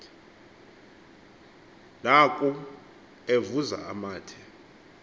naku evuza amathe